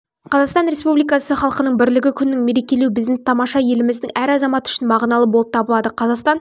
қазақстан республикасы халқының бірлігі күнің мерекелеу біздің тамаша еліміздің әр азаматы үшін мағыналы болып табылады қазақстан